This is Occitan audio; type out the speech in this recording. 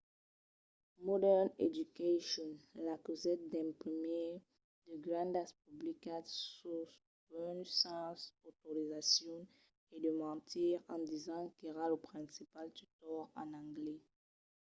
modern education l'acusèt d'imprimir de grandas publicitats suls buses sens autorizacion e de mentir en disent qu'èra lo principal tutor en anglés